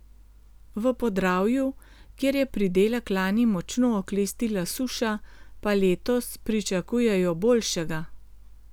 V Podravju, kjer je pridelek lani močno oklestila suša, pa letos pričakujejo boljšega.